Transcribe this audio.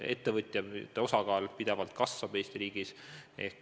Ettevõtjate osakaal Eesti riigis kasvab pidevalt.